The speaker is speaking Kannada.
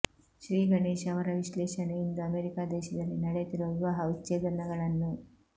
ಶ್ರೀ ಗಣೇಶ್ ಅವರ ವಿಶ್ಲೇಷಣೆ ಇಂದು ಅಮೇರಿಕಾ ದೇಶದಲ್ಲಿ ನಡೆಯುತ್ತಿರುವ ವಿವಾಹ ವಿಚ್ಛೇದನಗಳನ್ನು